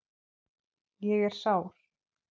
Ég er sár.